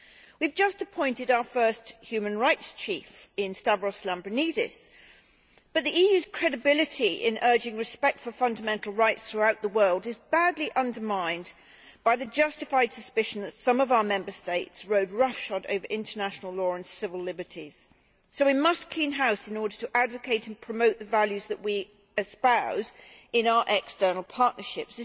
We have just appointed our first human rights chief in Stavros Lambrinidis, but the EU's credibility in urging respect for fundamental rights throughout the world is badly undermined by the justified suspicion that some of our Member States rode roughshod over international law and civil liberties, so we must clean house in order to advocate and promote the values that we espouse in our external partnerships.